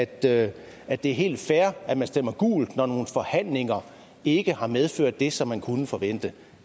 det er det er helt fair at man stemmer gult når nogle forhandlinger ikke har medført det som man kunne forvente